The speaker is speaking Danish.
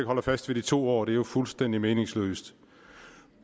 holder fast ved de to år det er jo fuldstændig meningsløst